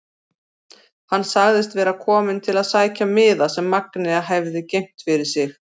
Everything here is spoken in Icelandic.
Hann sagðist vera kominn til að sækja miða sem Magnea hefði geymt fyrir sig.